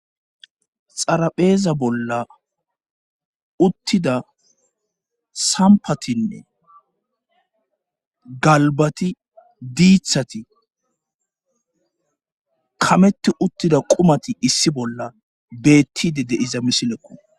Xarapheeza bolla uttida sampatinne galbati diithati kameti uttida qumati issi bolla beettide de'za misileko.